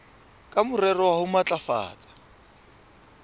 ka morero wa ho matlafatsa